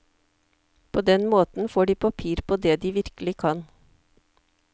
På den måten får de papir på det de virkelig kan.